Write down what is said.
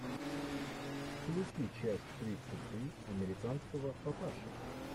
включи часть тридцать три американского папаши